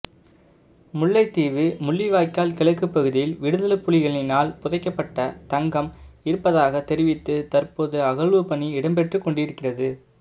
முல்லைத்தீவு முள்ளிவாய்க்கால் கிழக்கு பகுதியில் விடுதலைப்புலிகளினால் புதைக்கப்பட்ட தங்கம் இருப்பதாக தெரிவித்து தற்போது அகழ்வுப்பணி இடம்பெற்றுக்கொண்டிருக்கிறது